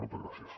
moltes gràcies